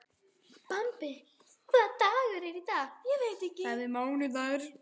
Bambi, hvaða dagur er í dag?